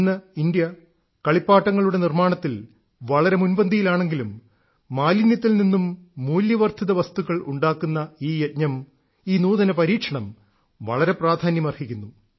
ഇന്ന് ഇന്ത്യ കളിപ്പാട്ടങ്ങളുടെ നിർമ്മാണത്തിൽ വളരെ മുൻപന്തിയിലാണെങ്കിലും മാലിന്യത്തിൽ നിന്നും മൂല്യവർദ്ധിത വസ്തുക്കൾ ഉണ്ടാക്കുന്ന ഈ യജ്ഞം ഈ നൂതന പരീക്ഷണം വളരെ പ്രാധാന്യമർഹിക്കുന്നു